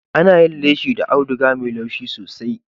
Ana yin leshi da audiga mai laushi sosai.